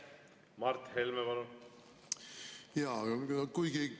Mart Helme, palun!